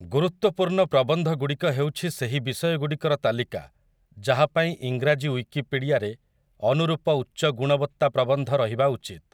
ଗୁରୁତ୍ୱପୂର୍ଣ୍ଣ ପ୍ରବନ୍ଧଗୁଡ଼ିକ ହେଉଛି ସେହି ବିଷୟଗୁଡ଼ିକର ତାଲିକା ଯାହା ପାଇଁ ଇଂରାଜୀ ଉଇକିପିଡ଼ିଆରେ ଅନୁରୂପ ଉଚ୍ଚଗୁଣବତ୍ତା ପ୍ରବନ୍ଧ ରହିବା ଉଚିତ୍ ।